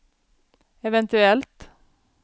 eventuellt